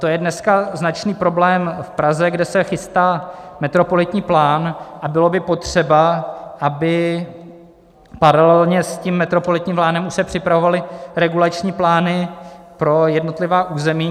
To je dneska značný problém v Praze, kde se chystá metropolitní plán a bylo by potřeba, aby paralelně s tím metropolitním plánem už se připravovaly regulační plány pro jednotlivá území.